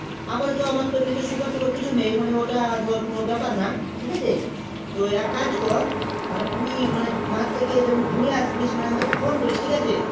আপাতত আমার sugar তুগার কিছু নেই মানে কোনো ব্যাপার নাই ঠিক আছে তো এক কাজ কর মানে তুই মানে মাঠ থেকে ঘুরে আসবি তখন আমাকে phone করিস ঠিক আছে